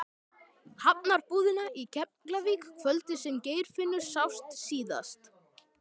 Hafnarbúðina í Keflavík kvöldið sem Geirfinnur sást síðast.